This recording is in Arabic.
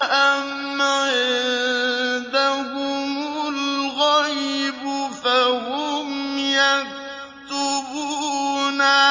أَمْ عِندَهُمُ الْغَيْبُ فَهُمْ يَكْتُبُونَ